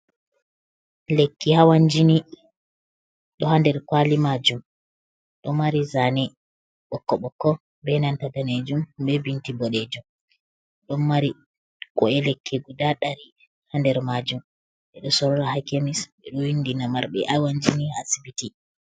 Lekki hawan jini ɗo ha nder kwali majum, ɗo mari zane ɓokko ɓokko be nanta danejum be bindi boɗejum ɗon mari ku’e lekki guda ɗari ha nder majum ɓeɗo sora ha kemis ɓeɗo windina marɓe hawan jini ha asibiti.